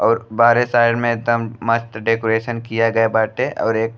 और बाहरे साइड में एकदम मस्त डेकोरेशन किया गई बाटे और एक --